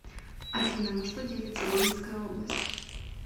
афина на что делится гомельская область